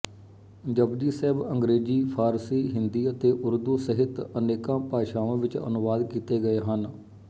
ਜਪੁਜੀ ਸਾਹਿਬ ਅੰਗਰੇਜ਼ੀ ਫ਼ਾਰਸੀ ਹਿੰਦੀ ਅਤੇ ਉਰਦੂ ਸਹਿਤ ਅਨੇਕਾਂ ਭਾਸ਼ਾਵਾਂ ਵਿੱਚ ਅਨੁਵਾਦ ਕੀਤੇ ਗਏ ਹਨ